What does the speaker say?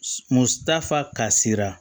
Mutafa kasira